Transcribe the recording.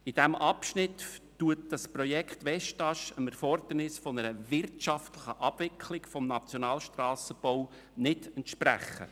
In diesem Abschnitt wird das Projekt Westast der Anforderung nach einer wirtschaftlichen Abwicklung des Nationalstrassenbaus nicht entsprechen.